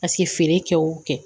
Paseke feere kɛ o kɛ